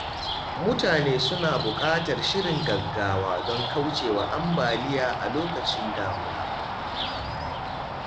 Mutane suna buƙatar shirin gaggawa don kauce wa ambaliya a lokacin damuna.